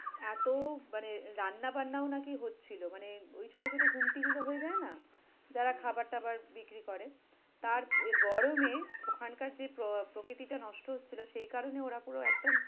এতো মানে রান্নাবান্নাও নাকি হচ্ছিলো, মানে ওই ছোট ছোট গুমটিগুলো হয়ে যায় না? যারা খাবার-টাবার বিক্রি করে? তার এ গরমে ওখানকার যে আহ প্রকৃতিটা নষ্ট হচ্ছিলো সেই কারণে ওরা পুরো একদম